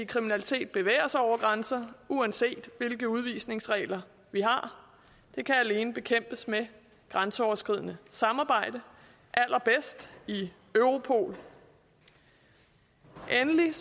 kriminalitet bevæger sig over grænser uanset hvilke udvisningsregler vi har det kan alene bekæmpes med grænseoverskridende samarbejde og allerbedst i europol endelig er